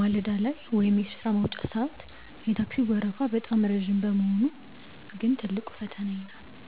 ማለዳ ላይ ወይም በሥራ መውጫ ሰዓት የታክሲው ወረፋ በጣም ረጅም መሆኑ ግን ትልቁ ፈተናዬ ነው።